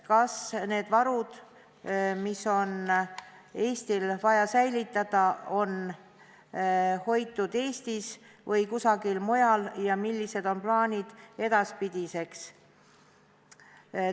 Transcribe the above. Kas need varud, mis on Eestil vaja säilitada, on hoitud Eestis või kusagil mujal, ja millised on plaanid edaspidiseks?